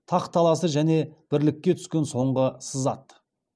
тақ таласы және бірлікке түскен соңғы сызат